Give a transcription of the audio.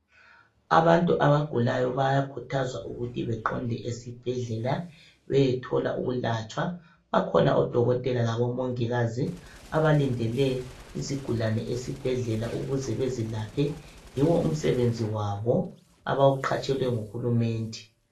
Abantu abagulayo bayakhuthazwa ukuthi beqonde esibhedlela beyethola ukulatshwa .Bakhona odokotela labomongikazi abalindele izigulane esibhedlela ukuze bezilaphe ,yiwo umsebenzi wabo abawuqhatshelwe nguhulumende.